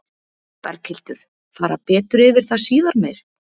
Berghildur: Fara betur yfir það síðar meir?